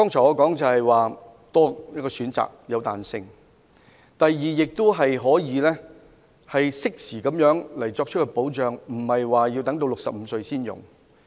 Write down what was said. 我剛才提及會有多一個選擇，有彈性；第二，亦可適時獲得保障，無須等到65歲才使用。